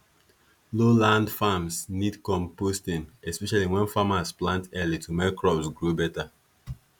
low land farms need composting especially when farmers plant early to make crops grow better